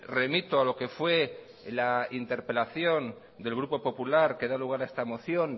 remito a lo que fue la interpelación del grupo popular que da lugar a esta moción